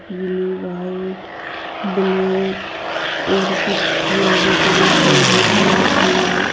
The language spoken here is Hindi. नीली वाइट ब्लैक और कुछ फूल भी टंगे हुए हैं पोलिथिन में--